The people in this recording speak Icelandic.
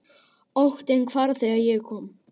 Óttinn hvarf þegar ég kom.